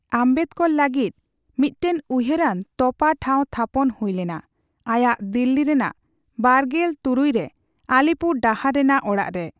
ᱟᱢᱵᱮᱫᱽᱠᱚᱨ ᱞᱟᱹᱜᱤᱫ ᱢᱤᱫᱴᱟᱝ ᱩᱭᱦᱟᱹᱨᱟᱱ ᱛᱚᱯᱟ ᱴᱷᱟᱣ ᱛᱷᱟᱯᱚᱱ ᱦᱩᱭ ᱞᱮᱱᱟ ᱟᱭᱟᱜ ᱫᱤᱞᱞᱤ ᱨᱮᱱᱟᱜ ᱵᱟᱨᱜᱮᱞ ᱛᱩᱨᱩᱭ ᱨᱮ, ᱟᱞᱤᱯᱩᱨ ᱰᱟᱦᱟᱨ ᱨᱮᱱᱟᱜ ᱚᱲᱟᱜ ᱨᱮ ᱾